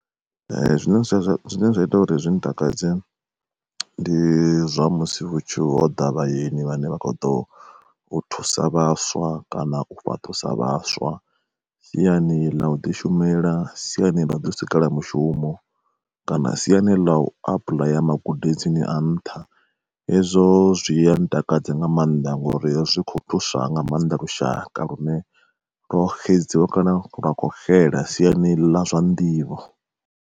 Zwine zwa zwine zwa ita uri zwi ntakadze, ndi zwa musi ho ḓa vhayeni vhane vha kho ḓo thusa vhaswa kana u fhaṱusa vhaswa, siani ḽa u ḓi shumela, siani ḽa u ḓi u sikela mishumo kana siani ḽa u apuḽaya magudedzini a nṱha hezwo zwia ntakadza nga maanḓa ngori zwi kho thusa nga maanḓa lushaka lune lwo xedzwa kana lwa kho xela siani ḽa zwa nḓivho.